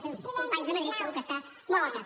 els seus companys de madrid segur que n’està molt al cas